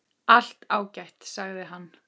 Allt ágætt, sagði hann.